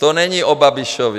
To není o Babišovi.